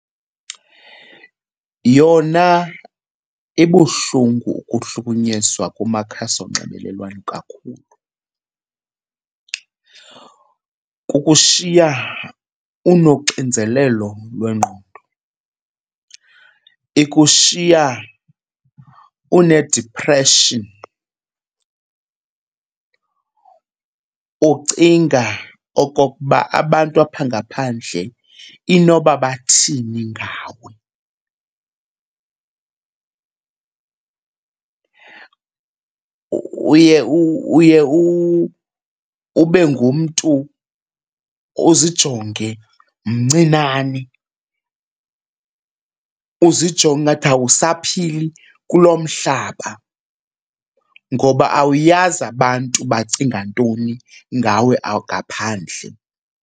Yona ibuhlungu ukuhlukunyezwa kumakhasi onxibelelwano kakhulu. Kukushiya unoxinzelelo lwengqondo, ikushiya une-depression ucinga okokuba abantu apha ngaphandle inoba bathini ngawe. Uye uye ube ngumntu uzijonge mncinane, uzijonge ngathi awusaphili kulo mhlaba ngoba awuyazi abantu bacinga ntoni ngawe ngaphandle.